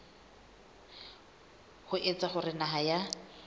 ho etsa hore naha ya